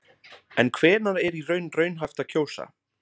En hvenær er í raun raunhæft að kjósa?